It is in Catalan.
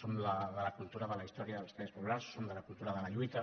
som de la cultura de la his·tòria dels drets populars som de la cultura de la lluita